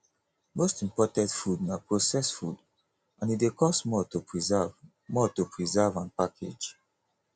most imported food na processed food and e dey cost more to preserve more to preserve and package